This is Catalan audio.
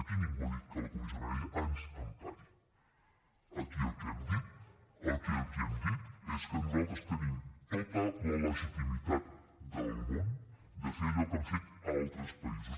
aquí ningú ha dit que la comissió de venècia ens empari aquí el que hem dit aquí el que hem dit és que nosaltres tenim tota la legitimitat del món de fer allò que han fet altres països